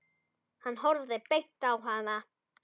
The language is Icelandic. Hann horfði beint á hana.